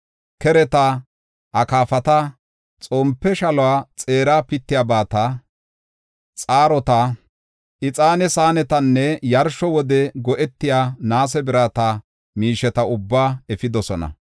Kereta, akaafata, xompe shaluwa xeera pittiyabata, xaarota, ixaane saanetanne yarsho wode go7etiya naase birata miisheta ubbaa efidosona.